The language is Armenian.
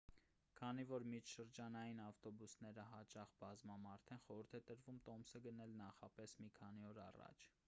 քանի որ միջշրջանային ավտոբուսները հաճախ բազմամարդ են խորհուրդ է տրվում տոմսը գնել նախապես մի քանի օր առաջ